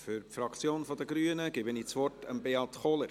Für die Fraktion der Grünen gebe ich das Wort Beat Kohler.